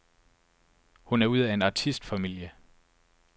Hun er ud af en artistfamilie.